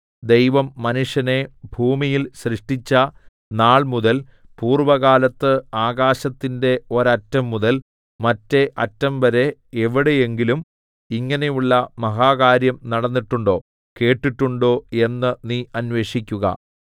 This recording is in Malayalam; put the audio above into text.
ദൈവം മനുഷ്യനെ ഭൂമിയിൽ സൃഷ്ടിച്ച നാൾമുതൽ പൂർവ്വകാലത്ത് ആകാശത്തിന്റെ ഒരറ്റംമുതൽ മറ്റെ അറ്റംവരെ എവിടെയെങ്കിലും ഇങ്ങനെയുള്ള മഹാകാര്യം നടന്നിട്ടുണ്ടോ കേട്ടിട്ടുണ്ടോ എന്ന് നീ അന്വേഷിക്കുക